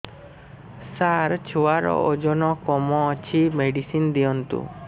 ସାର ଛୁଆର ଓଜନ କମ ଅଛି ମେଡିସିନ ଦିଅନ୍ତୁ